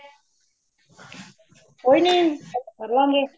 ਕੋਈ ਨਹੀਂ, ਕਰ ਲਾਗੇ